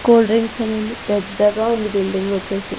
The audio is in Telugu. కూల్ డ్రింక్స్ అని ఉంది పెద్దగా ఉంది బిల్డింగ్ వచ్చేసి.